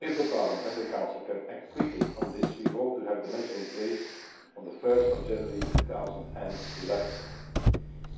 If Parliament and the Council can act quickly on this, we hope to have the measure in place on 1 January 2011.